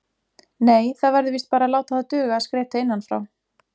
Nei, það verður víst bara að láta það duga að skreyta innan frá.